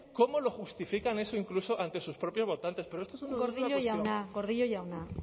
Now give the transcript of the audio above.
cómo justifican eso incluso ante sus propios votantes gordillo jauna gordillo jauna